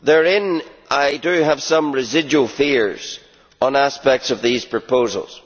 In that respect, I have some residual fears on aspects of these proposals.